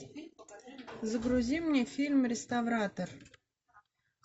загрузи мне фильм реставратор